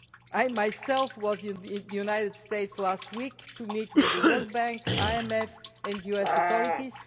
I myself was in the United States last week to meet with the World Bank, the IMF and the US authorities.